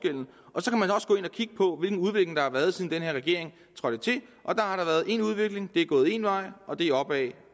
gå hvilken udvikling der har været siden den her regering trådte til og der har været én udvikling det er gået én vej og det er opad